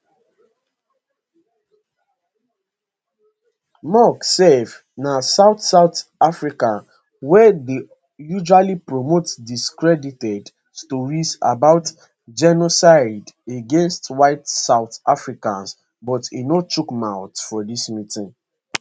musk sef na south south african wey dey usually promote discredited stories about genocide against white south africans but e no chook mouth for dis meeting